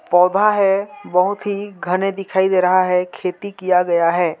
पौधा है बहुत ही घने दिखाई दे रहा है खेती किया गया है।